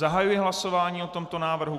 Zahajuji hlasování o tomto návrhu.